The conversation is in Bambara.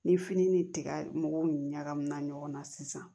Ni fini ni tiga mɔgɔw ɲagamina ɲɔgɔnna sisan